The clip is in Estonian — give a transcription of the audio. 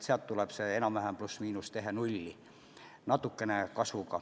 Sealt tuleb see enam-vähem pluss/miinus tehe nulli, natukene on kasvu.